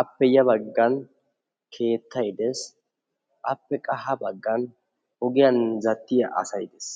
Appe ya baggan keettay de'ees. Appe qa ha baggan ogiyan zal'iya asaay de'ees.